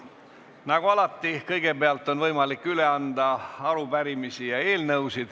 Nagu alati on kõigepealt võimalik üle anda arupärimisi ja eelnõusid.